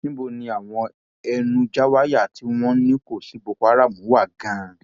níbo ni àwọn ẹnuńjàwáyà tí wọn ní kò sí boko haram wà gan